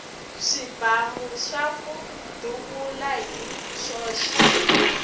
swibamu swaku duvula hi swoxe